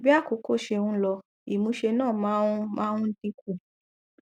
bí àkókò ṣe ń lọ ìmúṣe náà máa ń máa ń dín kù